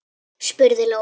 spurði Lóa.